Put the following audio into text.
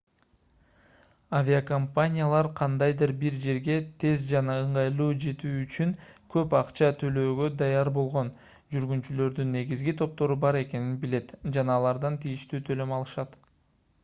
авиакомпаниялар кандайдыр бир жерге тез жана ыңгайлуу жетүү үчүн көп акча төлөөгө даяр болгон жүргүнчүлөрдүн негизги топтору бар экенин билет жана алардан тийиштүү төлөм алышат